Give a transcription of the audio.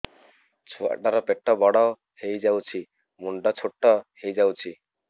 ଛୁଆ ଟା ର ପେଟ ବଡ ହେଇଯାଉଛି ମୁଣ୍ଡ ଛୋଟ ହେଇଯାଉଛି